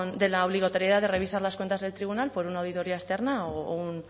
de la obligatoriedad de revisar las cuentas del tribunal por una auditoría externa u